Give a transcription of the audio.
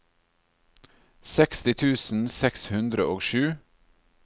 seksti tusen seks hundre og sju